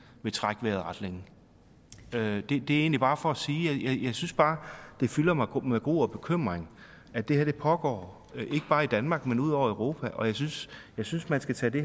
ville trække vejret ret længe det er egentlig bare for at sige at det fylder mig med gru og bekymring at det her pågår ikke bare i danmark men ud over europa og jeg synes synes man skal tage det